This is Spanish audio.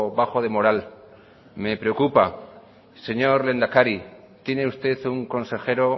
bajo de moral me preocupa señor lehendakari tiene usted un consejero